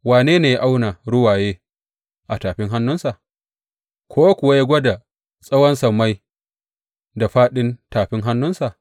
Wane ne ya auna ruwaye a tafin hannunsa, ko kuwa ya gwada tsawon sammai da fāɗin tafin hannunsa?